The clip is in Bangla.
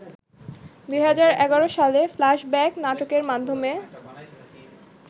২০১১ সালে ‘ফ্ল্যাশব্যাক’ নাটকের মাধ্যমে